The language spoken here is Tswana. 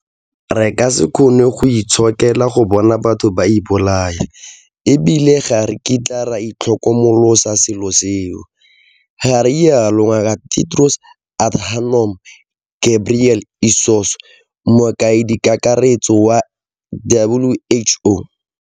Re ka se kgone go itshokela go bona batho ba ipolaya e bile ga re kitla re itlhokomolosa selo seo, ga rialo Ngaka Tedros Adhanom Ghebrey esus, Mokaedikakaretso wa WHO.